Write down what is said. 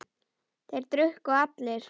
Þeir drukku allir.